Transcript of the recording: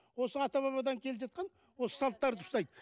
осы ата бабадан келе жатқан осы салттарды ұстайды